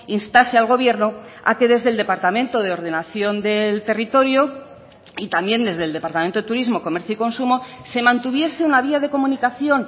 instase al gobierno a que desde el departamento de ordenación del territorio y también desde el departamento de turismo comercio y consumo se mantuviese una vía de comunicación